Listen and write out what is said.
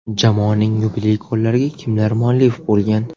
Jamoaning yubiley gollariga kimlar muallif bo‘lgan?.